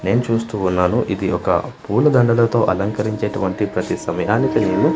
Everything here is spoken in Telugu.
నేను చూస్తూ ఉన్నాను ఇది ఒక పూలదండలతో అలంకరించేటువంటి ప్రతి సమయాని --